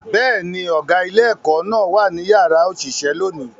Bẹ́ẹ̀ ni, ọ̀gá ilé-ẹ̀kọ́ náà wà ní yàrá òṣìṣẹ́ lónìí